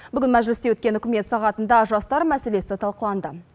бүгін мәжілісте өткен үкімет сағатында жастар мәселесі талқыланды